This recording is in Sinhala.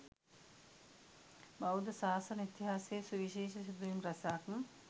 බෞද්ධ ශාසන ඉතිහාසයේ සුවිශේෂ සිදුවීම් රැසක්